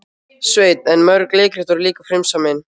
Sveinn en mörg leikrit voru líka frumsamin.